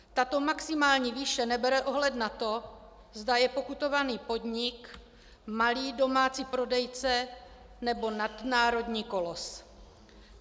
Tato maximální výše nebere ohled na to, zda je pokutovaný podnik malý domácí prodejce, nebo nadnárodní kolos.